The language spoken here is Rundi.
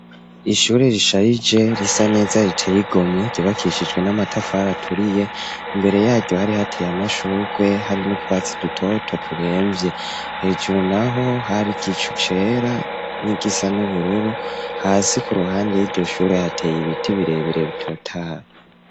Ishure, risharije, risa neza, riteye igomwe, ryubakishijwe n'amatafari, aturiye; imbere yaryo, hari hateye, amashurwe, hari n'utwatsi, dutoto, turemvye; hejuru naho, hari igicu cera, n'igisa n'ubururu; hasi, ku ruhande y'iryo shure, hateye ibiti, birebere, bitotahaye.